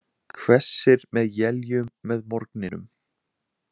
Hvessir með éljum með morgninum